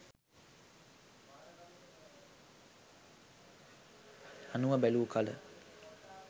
අනුව බැලූ කළ